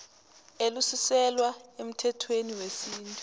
elisuselwa emthethweni wesintu